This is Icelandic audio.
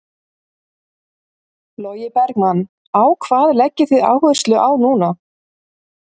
Logi Bergmann: Á hvað leggið þið áherslu á núna?